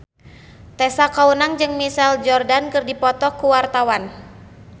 Tessa Kaunang jeung Michael Jordan keur dipoto ku wartawan